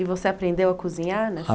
E você aprendeu a cozinhar